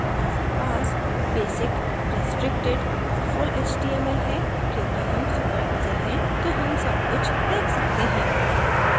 हमारे पास basic restricted और full html है क्योंकि हम super यूजर हैं तो हम सब कुछ देख सकते हैं